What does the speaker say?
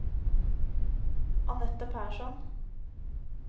Annette Persson